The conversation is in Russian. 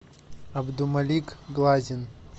абдумалик глазин